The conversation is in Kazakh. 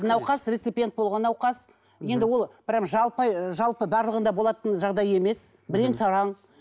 науқас рецепиент болған науқас енді ол прям жалпы ы жалпы барлығында болатын жағдай емес бірең сараң